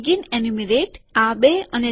begin enumerate શરૂઆતની ગણતરી